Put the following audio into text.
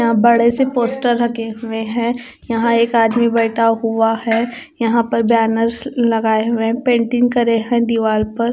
यहां बड़े से पोस्टर लगे हुए हैं यहां एक आदमी बइठा हुआ है यहां पर बैनर ल लगाए हुए हैं पेंटिंग करें हैं दीवाल पर।